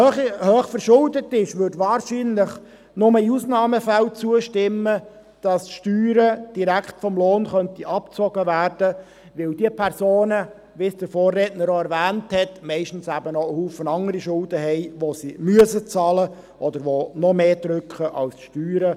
Wer hoch verschuldet ist, würde wahrscheinlich nur in Ausnahmefällen zustimmen, dass die Steuern direkt vom Lohn abgezogen werden, weil diese Personen, wie es der Vorredner erwähnt hat, meistens auch einen Haufen andere Schulden haben, die sie bezahlen müssen, oder die noch stärker drücken als die Steuern.